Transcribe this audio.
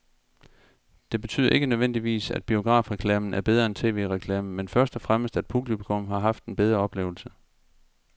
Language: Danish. Det betyder ikke nødvendigvis, at biografreklamen er bedre end tv-reklamen, men først og fremmest at publikum har haft en bedre oplevelse.